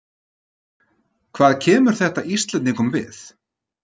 Hvað kemur þetta Íslendingum við?